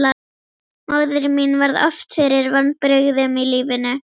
Móðir mín varð oft fyrir vonbrigðum í lífinu.